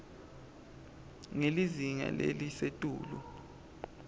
ngelizinga lelisetulu